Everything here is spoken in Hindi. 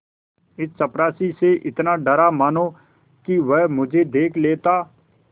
इस चपरासी से इतना डरा मानो कि वह मुझे देख लेता